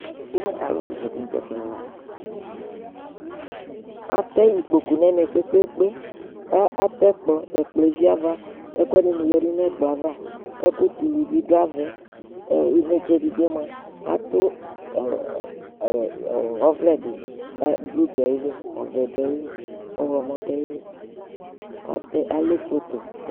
Atɛ ikpoku nɛmɛ kpekpekpe , k'atɛkplɔ, ɛkplɔ eviava, ɛkʋɛdɩnɩ yǝdu n' ɛkplɔ ava, ɛkʋ tulu bɩ dʋ avɛInetse edigboe mʋa, ɔvlɛ dɩ,blu dʋ ayili, ɔvɛ dʋ ayili ,alɛ foto